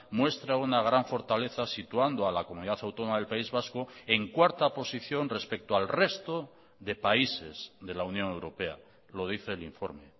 muestra una gran fortaleza situando a la comunidad autónoma del país vasco en cuarta posición respecto al resto de países de la unión europea lo dice el informe